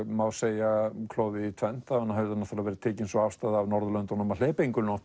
má segja klofið í tvennt það hafði verið tekin sú afstaða af Norðurlöndunum að hleypa engum